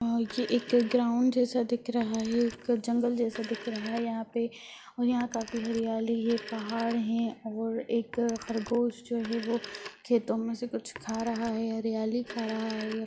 अ ये एक ग्राउण्ड जैसा दिख रहा है एक जंगल जैसा दिख रहा है यहाँ पे और यहाँ काफी हरियाली है पहाड़ है और एक खरगोश जो है वो खेतों मे से कुछ खा रहा है हरियाली खा रहा है ये |